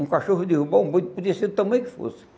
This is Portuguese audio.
Um cachorro derrubou um monte, podia ser do tamanho que fosse.